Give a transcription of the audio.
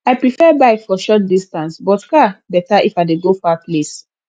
i prefer bike for short distance but car better if i dey go far place